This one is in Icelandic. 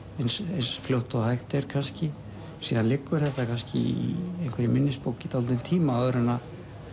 eins fljótt og hægt er kannski síðan liggur þetta kannski í einhverri minnisbók í dálítinn tíma áður en